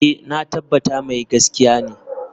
Eh, na tabbata mai gaskiya ne.